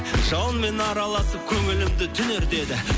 жауынмен араласып көңілімді түңертеді